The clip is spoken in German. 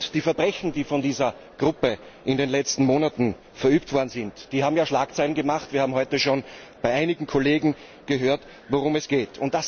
Die Verbrechen, die von dieser Gruppe in den letzten Monaten verübt worden sind, haben Schlagzeilen gemacht. Wir haben heute schon bei einigen Kollegen gehört, worum es geht.